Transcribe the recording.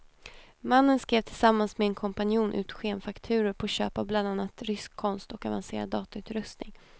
Mannen skrev tillsammans med en kompanjon ut skenfakturor på köp av bland annat rysk konst och avancerad datautrustning.